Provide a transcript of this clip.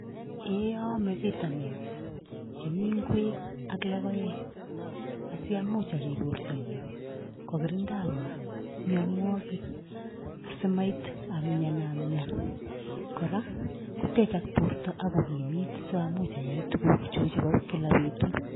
Eeeh aame vitamins chemi ingwek ak logoek asi amuch ariip bortonyu , kokirindaiwa mianwokik asimait amianamian koea kotechak borto ako kimiit samuch ayai tugukchu chebo kila betut.